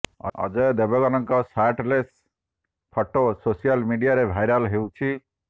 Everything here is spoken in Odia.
ଅଜୟ ଦେବଗନଙ୍କ ସାର୍ଟଲେସ ଫଟୋ ସୋସିଆଲ ମିଡ଼ିଆରେ ଭାଇରାଲ ହେଉଛି